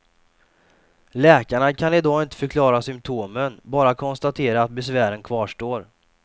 Läkarna kan i dag inte förklara symtomen, bara konstatera att besvären kvarstår.